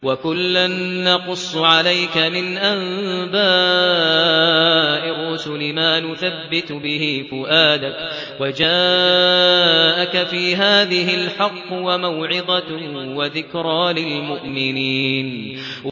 وَكُلًّا نَّقُصُّ عَلَيْكَ مِنْ أَنبَاءِ الرُّسُلِ مَا نُثَبِّتُ بِهِ فُؤَادَكَ ۚ وَجَاءَكَ فِي هَٰذِهِ الْحَقُّ وَمَوْعِظَةٌ وَذِكْرَىٰ لِلْمُؤْمِنِينَ